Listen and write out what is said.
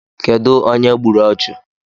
Kedụ onye gburu ọchụ?